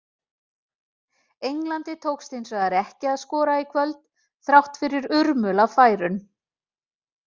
Englandi tókst hins vegar ekki að skora í kvöld, þrátt fyrir urmul af færum.